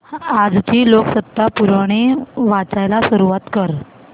आजची लोकसत्ता पुरवणी वाचायला सुरुवात कर